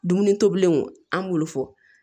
Dumuni tobilenw an b'olu fɔ